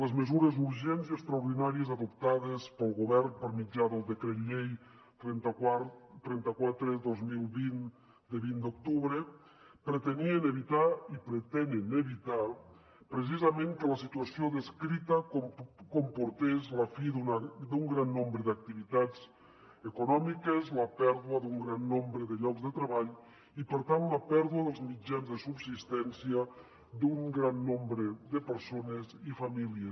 les mesures urgents i extraordinàries adoptades pel govern per mitjà del decret llei trenta quatre dos mil vint de vint d’octubre pretenien evitar i pretenen evitar precisament que la situació descrita comportés la fi d’un gran nombre d’activitats econòmiques la pèrdua d’un gran nombre de llocs de treball i per tant la pèrdua dels mitjans de subsistència d’un gran nombre de persones i famílies